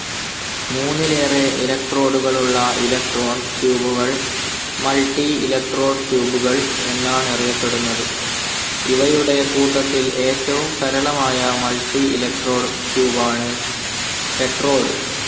മൂന്നിലേറെ ഇലക്ട്രോഡുകളുള്ള ഇലക്ട്രോൺ ട്യൂബുകൾ, മൾട്ടിഇലക്ട്രോഡ് ട്യൂബുകൾ എന്നാണറിയപെടുന്നത്. ഇവയുടെകൂട്ടത്തിൽ ഏറ്റവും സരളമായ മൾട്ടിഇലക്ട്രോഡ് ട്യൂബാണ് ടെട്രോഡ്.